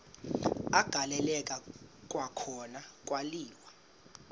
agaleleka kwakhona kwaliwa